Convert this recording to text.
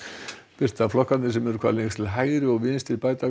birta flokkarnir sem eru hvað lengst til hægri og vinstri bæta